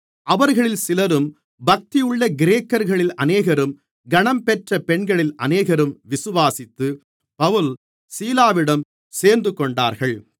அவர்களில் சிலரும் பக்தியுள்ள கிரேக்கர்களில் அநேகரும் கனம்பெற்ற பெண்களில் அநேகரும் விசுவாசித்து பவுல் சீலாவிடம் சேர்ந்துகொண்டார்கள்